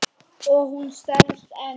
Og hún selst enn.